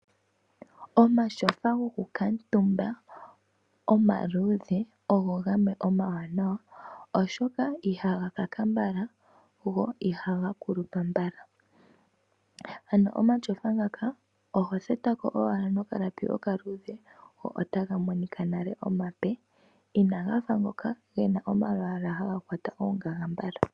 Omashofa gokukatumba omaluudhe ogo gamwe omawanawa oshoka ihaga kaka mbala, go ihaga kulupa mbala. Ano omashofa ngaka oho thetako owala nokalapi okaluudhe go ota ga monika nale omape, inaga fa ngoka gena omalwaala haga kwata oongaga mbala.